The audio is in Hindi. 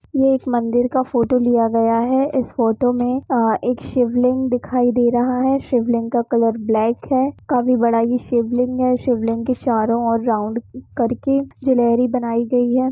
यह एक मंदिर का फोटो लिया गया है इस फोटो में आ एक शिवलिग दिखाई दे रहा है शिवलिग का कलर ब्लैक है काफी बड़ा यह शिवलिग है शिवलिंग के चारो और राउंड करके गैलेरी बनाई गयी है।